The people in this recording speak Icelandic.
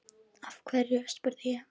Af hverju? spurði ég.